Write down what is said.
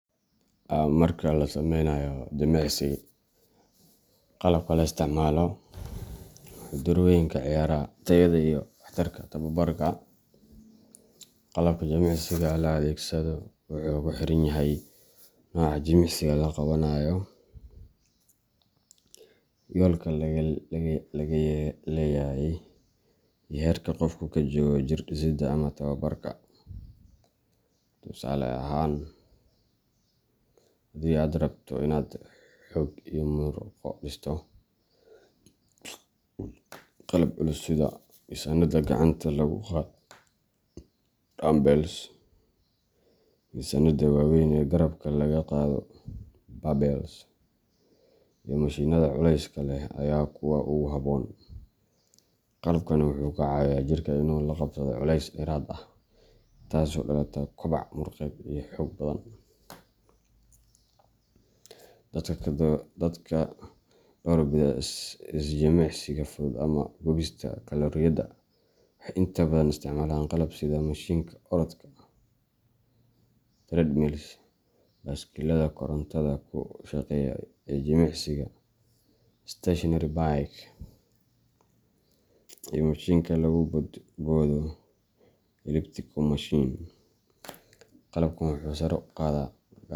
Marka la sameynayo jimicsi, qalabka la isticmaalo wuxuu door weyn ka ciyaaraa tayada iyo waxtarka tababarka. Qalabka jimicsiga la adeegsado wuxuu ku xiran yahay nooca jimicsiga la qabanayo, yoolka laga leeyahay, iyo heerka qofku ka joogo jir dhisidda ama tababarka. Tusaale ahaan, haddii aad rabto inaad xoog iyo murqo dhisto, qalab culus sida miisaannada gacanta lagu qaado dumbbells, miisaannada waaweyn ee garabka laga qaado barbells, iyo mashiinnada culayska leh ayaa ah kuwa ugu habboon. Qalabkani wuxuu ka caawiyaa jirka inuu la qabsado culays dheeraad ah, taasoo ka dhalata koboc murqeed iyo xoog badan. Dadka door bida is-jimicsiga fudud ama gubista kalooriyada waxay inta badan isticmaalaan qalab sida mishiinka orodka treadmill, baaskiilada korontada ku shaqeysa ee jimicsiga stationary bike, iyo mashiinka lagu boodboodo elliptical machine. Qalabkan wuxuu sare u qaadaa.